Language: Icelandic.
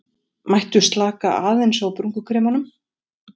Mættu slaka aðeins á brúnkukremunum